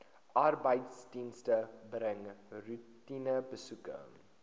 arbeidsdienste bring roetinebesoeke